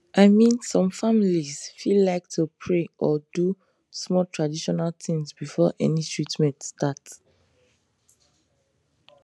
i mean some families fit like to pray or do small traditional things before any treatment start